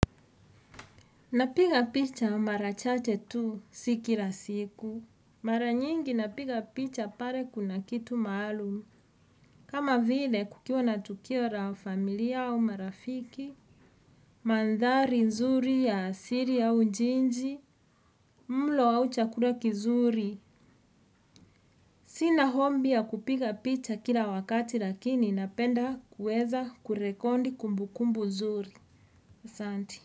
Napiga picha mara chache tu si kila siku. Mara nyingi napiga picha pale kuna kitu maalum. Kama vile kukiwa na tukio la familia au marafiki. Mandhari nzuri ya asili au jiji mlo au chakula kizuri. Sina ombi ya kupiga picha kila wakati lakini napenda kueza kurekondi kumbukumbu zuri. Asanti.